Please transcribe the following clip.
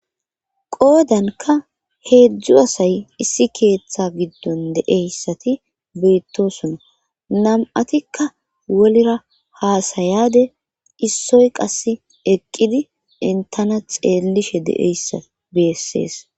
qoodanka heedzdzu asay issi keeththa giddon deeyssati beittosona nam7atikka wolera haasayade issoy qass eqqidi intana xeellishe deeyssa beessees